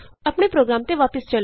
ਆਪਣੇ ਪ੍ਰੋਗਰਾਮ ਤੇ ਵਾਪਸ ਚਲੋ